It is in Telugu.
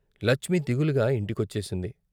లచ్మి దిగులుగా ఇంటి కొచ్చేసింది.